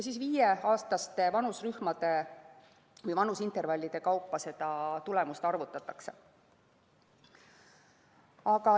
Viieaastaste vanusintervallide kaupa seda tulemust arvutatakse.